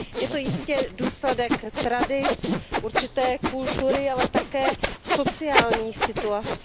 Je to jistě důsledek tradic, určité kultury, ale také sociální situace.